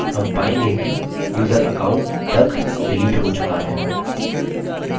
हम पायेंगे कि यूज़र account duck डिलीट हो चुका है